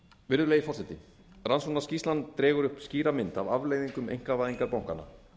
virðulegi forseti rannsóknarskýrslan dregur upp skýra mynd af afleiðingum einkavæðingar bankanna